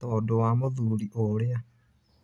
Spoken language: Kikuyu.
Tondũ wa mũthuri ũrĩa.